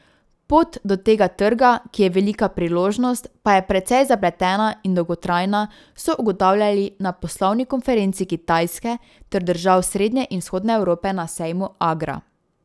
Pot do tega trga, ki je velika priložnost, pa je precej zapletena in dolgotrajna, so ugotavljali na poslovni konferenci Kitajske ter držav srednje in vzhodne Evrope na sejmu Agra.